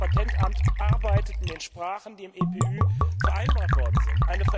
Das Europäische Patentamt arbeitet in den Sprachen, die im EPÜ vereinbart worden sind.